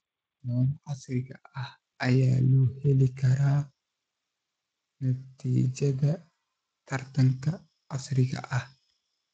Lo'da casriga ah ayaa loo heli karaa natiijada taranta casriga ah.